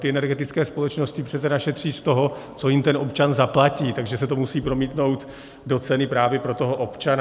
Ty energetické společnosti přece našetří z toho, co jim ten občan zaplatí, takže se to musí promítnout do ceny právě pro toho občana.